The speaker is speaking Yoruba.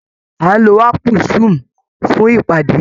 A ń lo áàpù zoom fún ìpadé